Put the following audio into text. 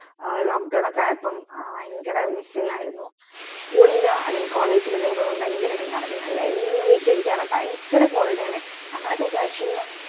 ആ lock down അയ്യപ്പം ഭയങ്കരം missing ആയിരുന്നു school ഇല്ല അല്ലെങ്കിൽ college ഇലപ്പം ഭയങ്കര എടങ്ങേരെന്നെലെ എന്നും വീട്ടിലിരിക ഭയങ്കര bore അടി ആണേ ഞങ്ങളൊക്കെ വിചാരിച്ചിരുന്നു